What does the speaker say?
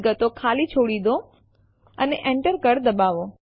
હવે આપણે લખીશું cp test one test two test three homeanirbantestdir અને Enter દબાવો